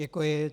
Děkuji.